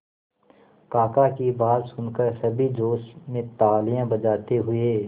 काका की बात सुनकर सभी जोश में तालियां बजाते हुए